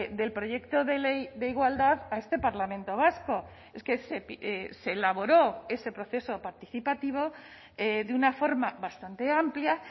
del proyecto de ley de igualdad a este parlamento vasco es que se elaboró ese proceso participativo de una forma bastante amplia